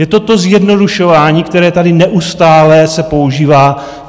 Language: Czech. Je to to zjednodušování, které tady neustále se používá.